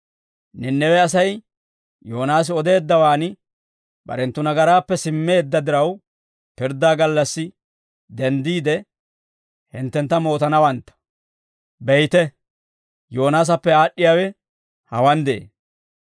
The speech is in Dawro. Nanawe Asay Yoonaasi odeeddawaan barenttu nagaraappe simmeedda diraw, pirddaa gallassi denddiide, hinttentta mootanawantta; beyte, Yoonaasappe aad'd'iyaawe hawaan de'ee.